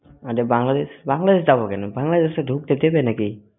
আরে বাংলাদেশ বাংলাদেশে যাব কেন বাংলাদেশে ঢুকতে দেবে নাকি